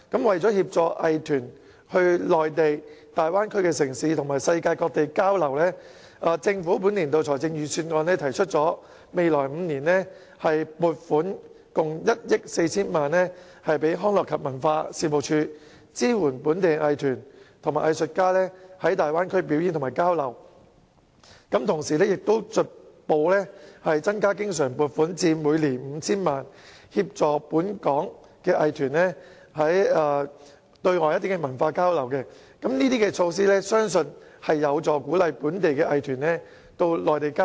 為協助藝團往內地大灣區城市及世界各地交流，政府在本年度財政預算案提出未來5年撥款共1億 4,000 萬元予康樂及文化事務署，支援本地藝團及藝術家在大灣區表演和交流；同時將逐步增加經常撥款至每年 5,000 萬元，協助本港藝團對外進行文化交流，相信上述措施有助鼓勵本地藝團往內地交流。